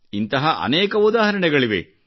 ಇಂತಹ ಅನೇಕ ಉದಾಹರಣೆಗಳಿವೆ